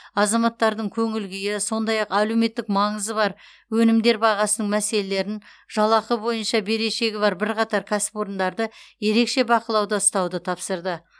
азаматтардың көңіл күйі сондай ақ әлеуметтік маңызы бар өнімдер бағасының мәселелерін жалақы бойынша берешегі бар бірқатар кәсіпорындарды ерекше бақылауда ұстауды тапсырды